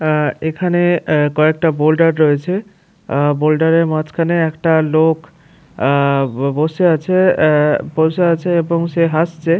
আ এখানে অ্যা কয়েকটা বোল্ডার রয়েছে আ বোল্ডারের মাঝখানে একটা লোক অ্যা ব বসে আছে আ বসে আছে এবং সে হাসছে।